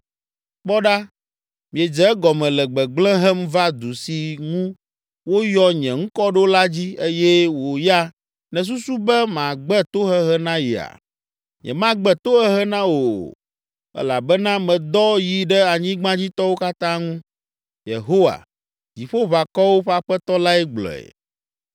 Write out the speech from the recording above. Kpɔ ɖa, miedze egɔme le gbegblẽ hem va du si ŋu woyɔ nye ŋkɔ ɖo la dzi eye wò ya nèsusu be magbe tohehe na yea? Nyemagbe tohehe na wò o, elabena medɔ yi ɖe anyigbadzitɔwo katã ŋu, Yehowa, Dziƒoʋakɔwo ƒe Aƒetɔ lae gblɔe.’